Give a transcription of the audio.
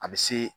A bɛ se